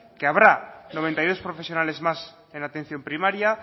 que habrá noventa y dos profesionales más en la atención primaria